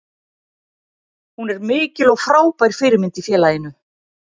Hún er mikil og frábær fyrirmynd í félaginu.